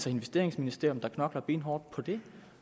investeringsministerium der knokler benhårdt på det